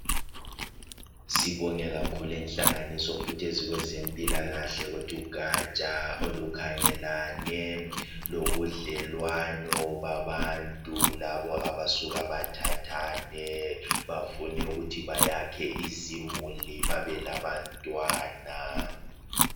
Sibonge kakhulu inhlanganiso futhi ezikwezempilakahle kuthi ugatsha olukhangelane lobudlelwano babantu kulabo abasuka bathathane bafunukuthi bayakhe izimuli babe labantwana.